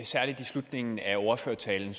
særlig i slutningen af ordførertalen